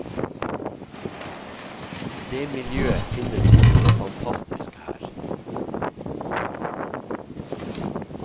Det miljøet finnes jo så fantastisk her.